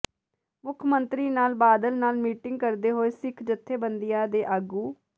ਮੁੱਖ ਮੰਤਰੀ ਨਾਲ ਬਾਦਲ ਨਾਲ ਮੀਟਿੰਗ ਕਰਦੇ ਹੋਏ ਸਿੱਖ ਜੱਥੇਬੰਦੀਆਂ ਦੇ ਆਗੂ